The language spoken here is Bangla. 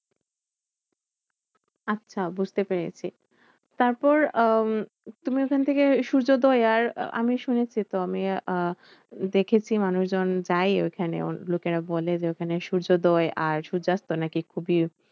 আচ্ছা বুঝতে পেরেছি। তারপর আহ তুমি ওখান থেকে সূর্যোদয় আর আমি শুনেছি তো আমি আহ দেখেছি মানুষজন যায় ওখানে। লোকেরা বলে যে, ওখানে সূর্যোদয় আর সূর্যাস্ত নাকি খুবই